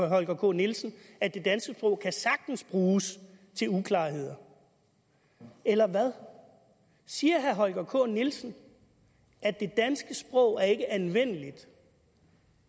holger k nielsen at det danske sprog sagtens kan bruges til uklarheder eller hvad siger herre holger k nielsen at det danske sprog ikke er anvendeligt